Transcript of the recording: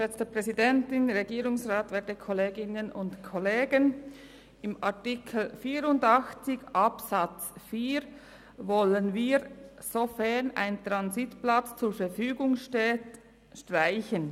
InArtikel 84 Absatz 4 wollen wir, «sofern ein Transitplatz zur Verfügung steht» streichen.